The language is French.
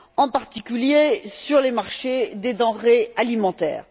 en particulier, sur les marchés des denrées alimentaires.